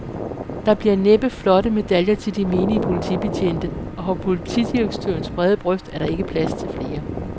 Der bliver næppe flotte medaljer til de menige politibetjente, og på politidirektørens brede bryst er der ikke plads til flere.